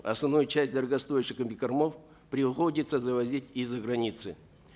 основную часть дорогостоящих комбикормов приходится завозить из за границы